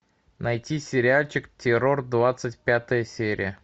найти сериальчик террор двадцать пятая серия